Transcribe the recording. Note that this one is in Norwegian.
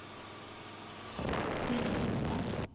Frida Finstad